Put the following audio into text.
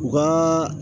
U ka